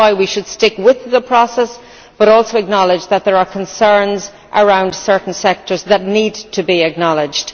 That is why we should stick with the process but also acknowledge that there are concerns around certain sectors that need to be acknowledged.